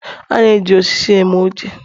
A na-eji osisi eme oche